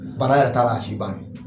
Baara yɛrɛ t'a la, a si ban